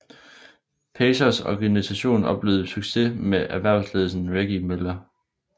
Pacers organisationen oplevede succes med erhvervelsen af Reggie Miller